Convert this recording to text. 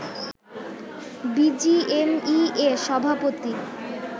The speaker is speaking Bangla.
বিজিএমএইএ সভাপতি